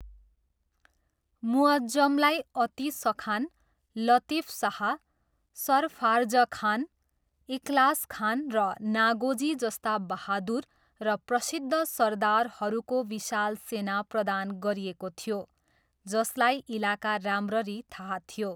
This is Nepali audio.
मुअज्जमलाई अतिसखान, लतिफशाह, सरफार्जखान, इखलासखान, र नागोजी जस्ता बहादुर र प्रसिद्ध सरदारहरूको विशाल सेना प्रदान गरिएको थियो जसलाई इलाका राम्ररी थाहा थियो।